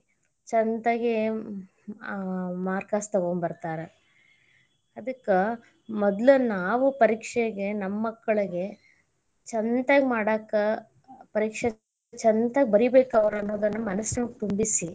ಚಂತಗೆ ಅಹ್ marks ತೊಗೊಂಬರತಾರ ಅದಕ್ಕ ಮೊದ್ಲ ನಾವ್ ಪರೀಕ್ಷೆಗೆ ನಮ್ಮ ಮಕ್ಕಳಗೆ ಚಂತಗೆ ಮಾಡಾಕ ಪರೀಕ್ಷೆ ಚಂತಗ ಬರೀಬೇಕ್ ಅವ್ರ ಅನ್ನದ ಮನಸಯೊಳಗ್ ತುಂಬಿಸಿ.